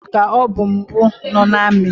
Sergentu ka ọbụ mbụ nọ n’ami